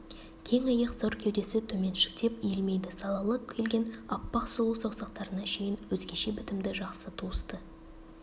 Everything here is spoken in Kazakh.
кең иық зор кеудесі төменшіктеп иілмейді салалы келген аппақ сұлу саусақтарына шейін өзгеше бітімді жақсы туысты